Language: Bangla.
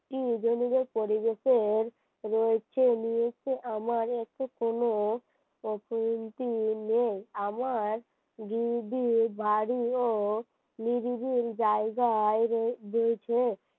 পরিবেশের রয়েছে আমার দিদি বাড়ি ও নিরিবিল জায়গায় দিয়েছে